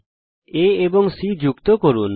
A এবং C যুক্ত করুন